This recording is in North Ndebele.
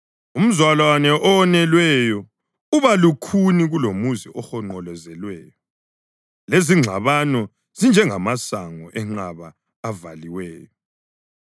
Umzalwane owonelweyo uba lukhuni kulomuzi ohonqolozelweyo, lezingxabano zinjengamasango enqaba avaliweyo.